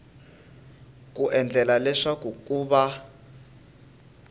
ku endlela leswaku ku va